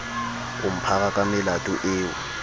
o mphara ka melato eo